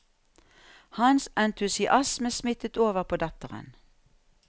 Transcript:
Hans entusiasme smittet over på datteren.